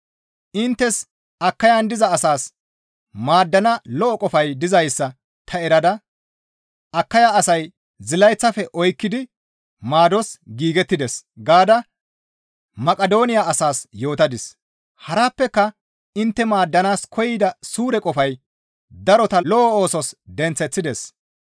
Inttes Akayan diza asaas maaddana lo7o qofay dizayssa ta erada, «Akaya asay zilayththafe oykkidi maados giigettides» gaada Maqidooniya asaas yootadis. Harappeka intte maaddanaas koyida suure qofay darota lo7o oosos denththeththides.